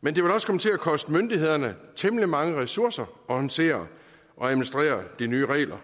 men det vil også komme til at koste myndighederne temmelig mange ressourcer at håndtere og administrere de nye regler